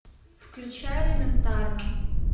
включай элементарно